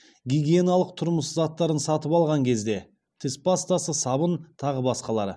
гигиеналық тұрмыс заттарын сатып алған кезде тіс пастасы сабын тағы басқалары